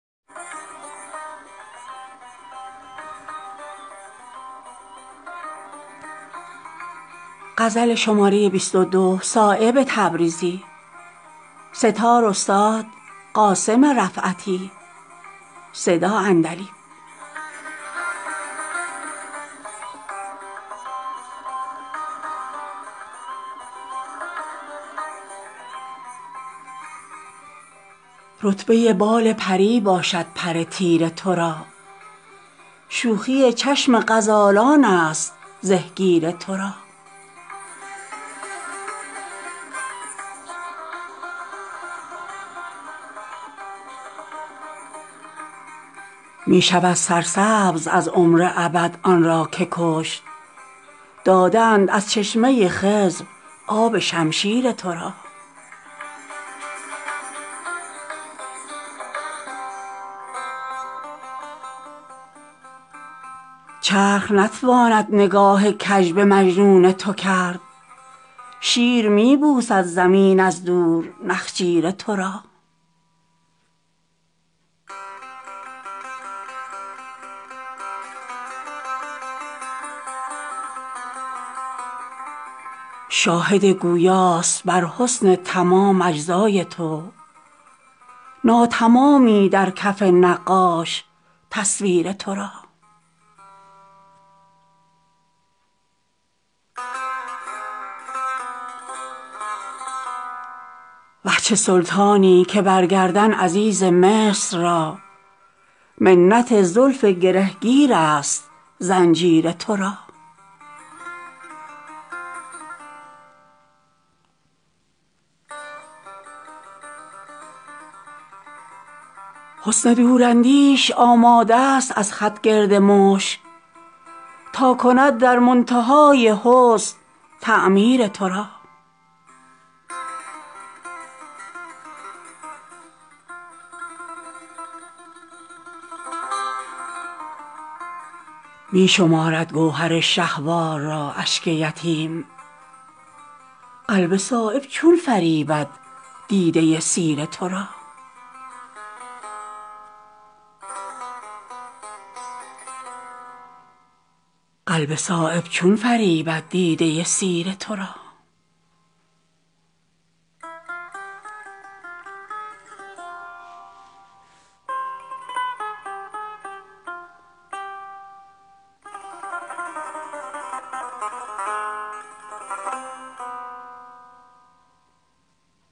رتبه بال پری باشد پر تیر تو را شوخی چشم غزالان است زهگیر تو را می شود سرسبز از عمر ابد آن را که کشت داده اند از چشمه خضر آب شمشیر تو را چرخ نتواند نگاه کج به مجنون تو کرد شیر می بوسد زمین از دور نخجیر تو را شاهد گویاست بر حسن تمام اجزای تو نا تمامی در کف نقاش تصویر تو را وه چه سلطانی که بر گردن عزیز مصر را منت زلف گره گیرست زنجیر تو را حسن دوراندیش آماده ست از خط گرد مشک تا کند در منتهای حسن تعمیر تو را می شمارد گوهر شه وار را اشک یتیم قلب صایب چون فریبد دیده سیر تو را